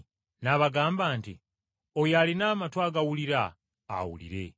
N’abagamba nti, “Oyo alina amatu agawulira awulire.”